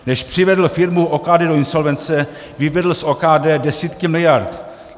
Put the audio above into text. Než přivedl firmu OKD do insolvence, vyvedl z OKD desítky miliard.